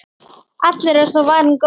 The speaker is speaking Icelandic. Allur er þó varinn góður.